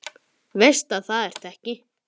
Veist að það ertu ekki.